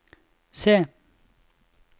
se